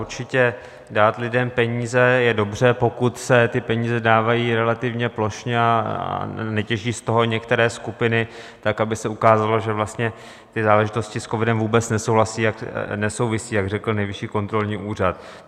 Určitě, dát lidem peníze je dobře, pokud se ty peníze dávají relativně plošně a netěží z toho některé skupiny tak, aby se ukázalo, že vlastně ty záležitosti s covidem vůbec nesouvisí, jak řekl Nejvyšší kontrolní úřad.